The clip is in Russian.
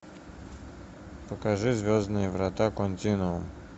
покажи звездные врата континуум